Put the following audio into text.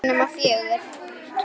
Klukkan er ekki nema fjögur.